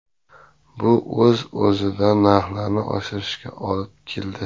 Bu o‘z-o‘zidan narxlarni oshishiga olib keldi.